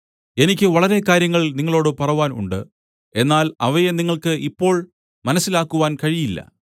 എനിക്ക് വളരെ കാര്യങ്ങൾ നിങ്ങളോടു പറവാൻ ഉണ്ട് എന്നാൽ അവയെ നിങ്ങൾക്ക് ഇപ്പോൾ മനസ്സിലാക്കുവാൻ കഴിയില്ല